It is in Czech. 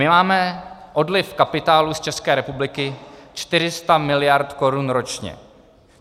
My máme odliv kapitálu z České republiky 400 mld. korun ročně.